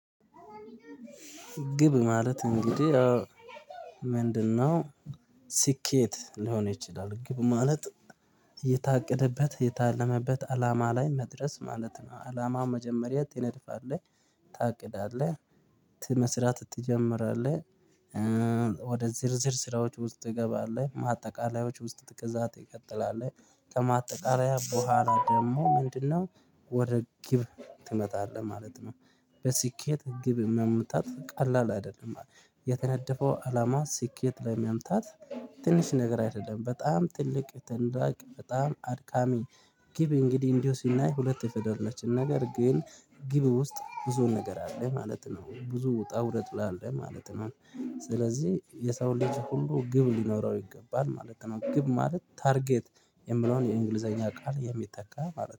ግብ ማለት እንግዲህ ምንድነው? ስኬት ሊሆን ይችላል ግብ ማለት እየታቀደበት እየታለመበት አላማ ላይ መድረስ ማለት ነው። አላማ መጀመሪያ ትነድፋለህ ታቅዳለህ ት መስራት ትጀምራለህ። ወደ ዝርዝር ስራዎች ውስጥ ትገባለህ ማጠቃለያዎች ውስጥ ከዛ ትቀጥላለህ ከማጠቃለያው በኋላ ደግሞ ምንድነው ወደ ግብ ትመጣለህ ማለት ነው። በስኬት ግብ የምታልፍ ቀላል አይደለም የተነደፈው አላማ ስኬት ለመምታት ትንሽ ነገር አይደለም በጣም ጥልቅ ትንዳቅ በጣም አድካሚ። ግብ እንግዲህ እንዲሁ ሲናይ ሁለት የፈለገችን ነገር ግን ግብ ውስጥ ብዙ ነገር አለ ማለት ነው ብዙ ውጣ ውረድ አለ ማለት ነው። ስለዚህ የሰው ልጅ ሁሉ ግብ ሊኖረው ይገባል ማለት ነው። ግብ ማለት ታርጌት የሚለውን የእንግሊዘኛ ቃል የሚተካ ማለት ነው